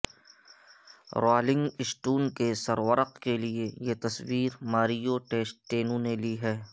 rolling Stone کے سرورق کے لیے یہ تصویر ماریو ٹیسٹینو نے لی ہے